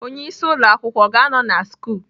Onye isi ụlọ akwụkwọ ọ ga-anọ na sch?